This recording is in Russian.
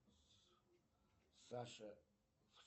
саша